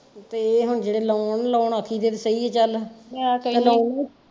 ਤੇ ਇਹ ਹੁਣ ਜਿਹੜੇ loan loan ਅਸੀਂ ਚਲ ਮੈਂ ਕਹਿਣੀ।